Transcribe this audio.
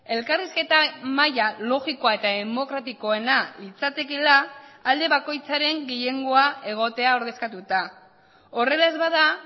elkarrizketa mahaia logikoa eta demokratikoena litzatekeela alde bakoitzaren gehiengoa egotea ordezkatuta horrela ez bada